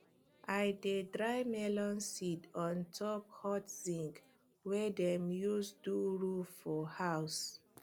i dey dry melon seed on top hot zinc wey dem use do roof for house